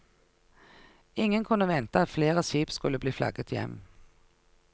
Ingen kunne vente at flere skip skulle bli flagget hjem.